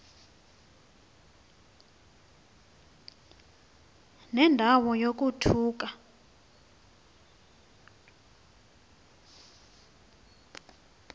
nenda wo yokuthukwa